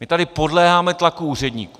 My tady podléháme tlaku úředníků.